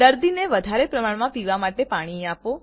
દર્દી ને વદારે પ્રમાણમા પાણી પીવા માટે આપો